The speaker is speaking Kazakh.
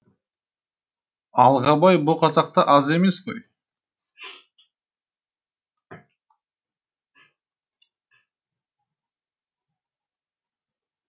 алғабай бұ қазақта аз емес қой